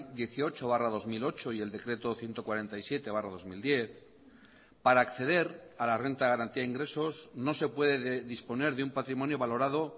dieciocho barra dos mil ocho y el decreto ciento cuarenta y siete barra dos mil diez para acceder a la renta de garantía de ingresos no se puede disponer de un patrimonio valorado